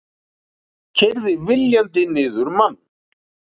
Keyrði viljandi niður mann